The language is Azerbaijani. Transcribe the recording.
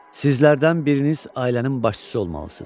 Sizlərdən biriniz ailənin başçısı olmalısınız.